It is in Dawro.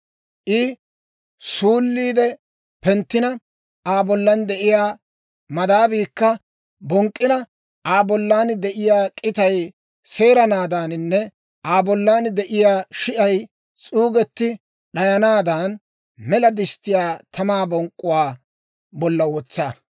I suulliide penttina, Aa bollan de'iyaa madaabiikka bonk'k'ina, Aa bollan de'iyaa k'itay seeranaadaaninne Aa bollan de'iyaa shi'ay s'uugetti d'ayanaadan, mela disttiyaa tamaa bonk'k'uwaa bolla wotsa.